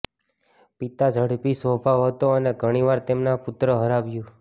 પિતા ઝડપી સ્વભાવ હતો અને ઘણી વાર તેમના પુત્ર હરાવ્યું